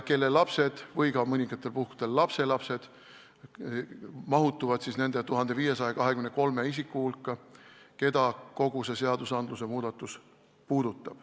Nende lapsed või mõningatel puhkudel lapselapsed mahuvad nende 1523 isiku hulka, keda kogu see seadusmuudatus puudutaks.